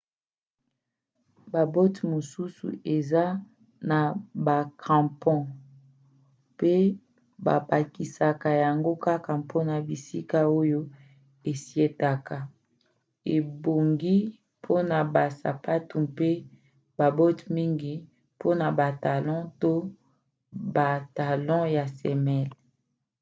babote mosusu eza na bacrampons mpe babakisaka yango kaka mpona bisika oyo esietaka ebongi mpona basapatu mpe babote mingi mpona batalons to batalon na semelle